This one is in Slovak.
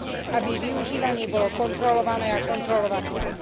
Aby využívanie bolo kontrolované a kontrolovateľné.